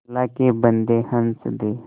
अल्लाह के बन्दे हंस दे